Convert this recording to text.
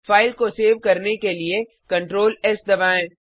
file को save करने के लिए Ctrl एस दबाएँ